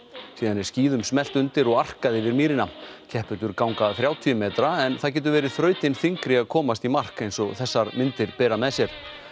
síðan er skíðum smellt undir og arkað yfir mýrina keppendur ganga þrjátíu metra en það getur verið þrautin þyngri að komast í mark eins og þessar myndir bera með sér